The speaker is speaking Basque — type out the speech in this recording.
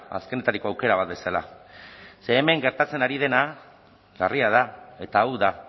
azkenetariko aukera bat bezala ze hemen gertatzen ari dena larria da eta hau da